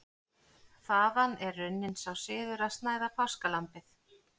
Þaðan er runninn sá siður að snæða páskalambið.